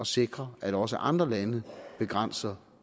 sikre at også andre lande begrænser